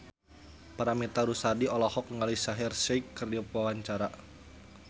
Paramitha Rusady olohok ningali Shaheer Sheikh keur diwawancara